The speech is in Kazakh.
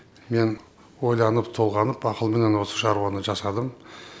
мен ойланып толғанып ақылменен осы шаруаны жасадым